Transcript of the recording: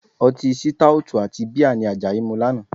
Ọtí sítáótù àti bíà ni Àjàyí mu lánàá